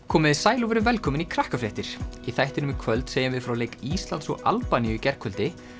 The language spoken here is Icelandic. komiði sæl og verið velkomin í í þættinum í kvöld segjum við frá leik Íslands og Albaníu í gærkvöldi